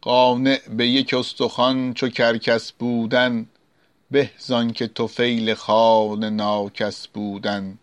قانع به یک استخوان چو کرکس بودن به زآنکه طفیل خوان ناکس بودن